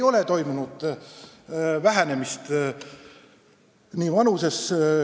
Vanus ei ole vähenenud!